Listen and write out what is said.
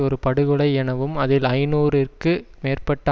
ஒரு படுகொலை எனவும் அதில் ஐநூறு இற்கு மேற்பட்ட